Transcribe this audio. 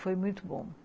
Foi muito bom.